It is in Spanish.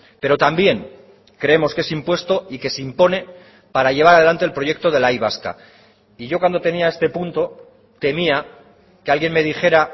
pero también creemos que es impuesto y que se impone para llevar adelante el proyecto de la y vasca y yo cuando tenía este punto temía que alguien me dijera